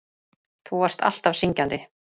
Þú varst alltaf syngjandi.